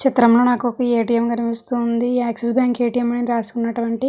ఈ చిత్రం లో నాకొక ఏ_టి_ఎం కనిపిస్తుంది యాక్సిస్ బ్యాంక్ ఏ_టి_ఎం అని రాసున్నటువంటి--